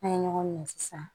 N'a ye ɲɔgɔn minɛ sisan